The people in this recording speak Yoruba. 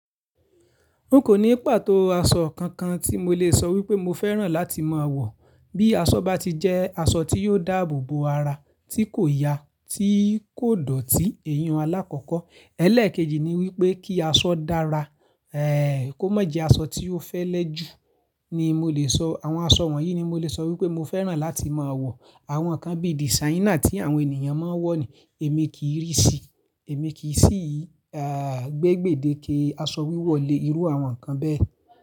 N ò ní pàtó aṣọ kankan tí mo lè sọ wípé mo fẹ́ràn láti máa wọ̀. Bí aṣọ bá ti jẹ́ aṣọ tí yóò dáàbò bo ara, tí kò ya, tí kò dọ̀tí iyin hun alákọ́kọ́. Ẹ̀lẹ́ẹ̀kejì ni wípé kí aṣọ dára, kó má jẹ́ aṣọ tí ó fẹ́ lẹ́ jù ni mo lè sọ. Àwọn aṣọ wọ̀nyí ni mo lè sọ wípé mo fẹ́ràn láti máa wọ̀. Àwọn kan bí designer tí àwọn ènìyàn máa ń wọ̀ ni, èmi kì í rí sí i, èmi kì í sì í gbégbè deke aṣọ wíwọ̀ le irú àwọn nnkan bẹ́ẹ̀.